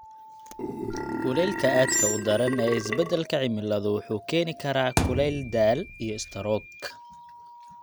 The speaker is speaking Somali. Kulaylka aadka u daran ee isbeddelka cimiladu wuxuu keeni karaa kulayl daal iyo istaroog.